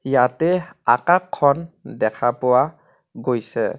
ইয়াতে আকাখখন দেখা পোৱা গৈছে।